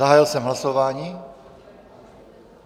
Zahájil jsem hlasování.